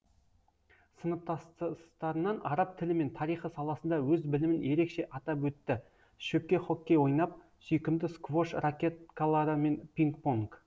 сыныптастарынан араб тілі мен тарихы саласында өз білімін ерекше атап өтті шөпке хоккей ойнап сүйкімді сквош ракеткалары мен пинг понг